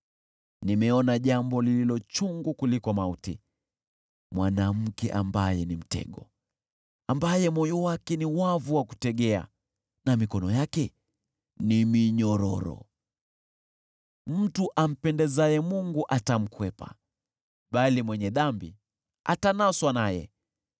Nimeona jambo lililo chungu kuliko mauti, mwanamke ambaye ni mtego, ambaye moyo wake ni wavu wa kutegea na mikono yake ni minyororo. Mtu ampendezaye Mungu atamkwepa, bali mwenye dhambi atanaswa naye.